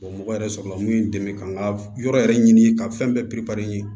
mɔgɔ yɛrɛ sɔrɔla mun ye n dɛmɛ ka n ka yɔrɔ yɛrɛ ɲini ka fɛn bɛɛ